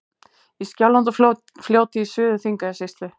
Í Skjálfandafljóti í Suður-Þingeyjarsýslu.